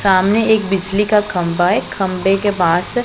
सामने एक बिजली का खंभा है खंभे के बाहर से--